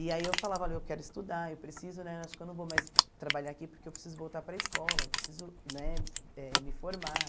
E aí eu falava, olha eu quero estudar, eu preciso né, acho que eu não vou mais trabalhar aqui porque eu preciso voltar para a escola, eu preciso né eh me formar.